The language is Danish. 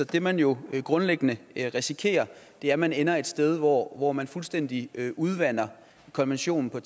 det man jo grundlæggende risikerer er at man ender et sted hvor hvor man fuldstændig udvander konventionen og